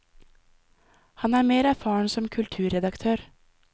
Han er mer erfaren som kulturredaktør.